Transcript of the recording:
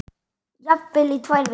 Jafnvel í tvær vikur.